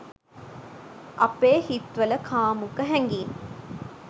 අපේ හිත් වල කාමුක හැඟීම්